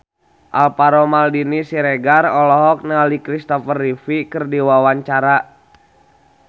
Alvaro Maldini Siregar olohok ningali Christopher Reeve keur diwawancara